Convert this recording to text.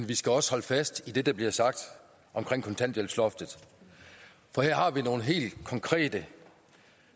vi skal også holde fast i det der bliver sagt om kontanthjælpsloftet for det har nogle helt konkrete